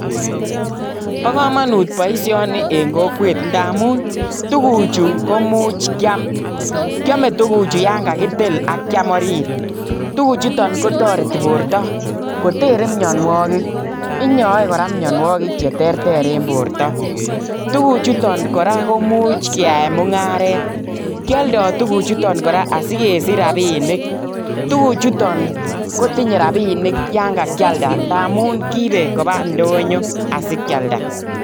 Bo komonut boishonii en kokwet ndamun tuguchu komuch Kiam. Kiome tuguchu yon kakitil ak kiam oriit. Tuguchuton kotoretii bortoo kotere mionwogiik, inyoe Kora mionwogiik Che terter en bortoo. Tuguchuton kora koimuch keyaen mungaret, kioldoo tuguchutok kora asikesich rabinik. Tuguchuton kotindo rabinik yon kakialdaa ndamun, kiibe koba ndonyoo asikialdaa